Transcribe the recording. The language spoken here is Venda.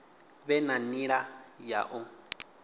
vhe na nila ya u